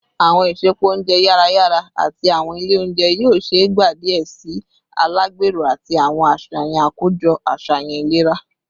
Awọn isẹpo ounjẹ yara yara ati awọn ile ounjẹ yoo ṣee gba diẹ sii alagbero ati awọn aṣayan akojọ aṣayan ilera